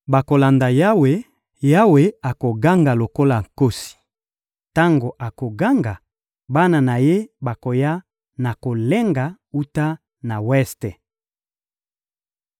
Bakolanda Yawe! Yawe akoganga lokola nkosi. Tango akoganga, bana na Ye bakoya na kolenga wuta na weste.